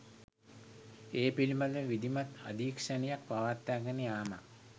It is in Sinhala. ඒ පිළිබඳව විධිමත් අධීක්ෂණයක් පවත්වාගෙන යාමත්